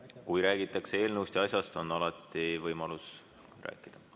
Kui räägitakse eelnõust ja asjast, siis on alati võimalus rääkida.